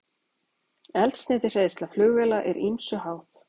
Eldsneytiseyðsla flugvéla er ýmsu háð.